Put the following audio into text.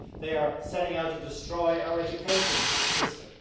They are setting out to destroy our education system.